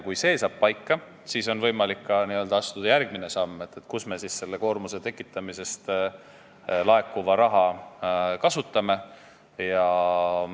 Kui see saab paika, siis on võimalik astuda järgmine samm, otsustada, kus me seda koormuse tekitamisest laekuvat raha kasutame.